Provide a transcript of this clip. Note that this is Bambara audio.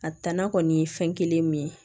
A danna kɔni ye fɛn kelen min ye